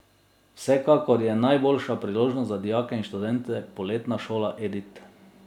Vsekakor je najboljša priložnost za dijake in študente poletna šola Edit.